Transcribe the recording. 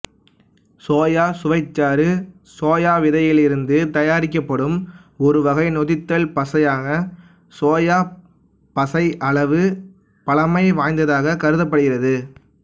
soya சுவைச்சாறு soya விதைகளிலிருந்து தயாரிக்கப்படும் ஒரு வகை நொதித்த பசையான சோயாப் பசை அளவு பழமை வாய்ந்ததாகக் கருதப்படுகின்றது